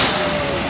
Quraşdırılır.